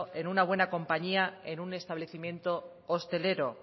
en una buena compañía en un establecimiento hostelero